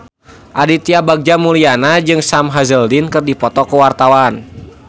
Aditya Bagja Mulyana jeung Sam Hazeldine keur dipoto ku wartawan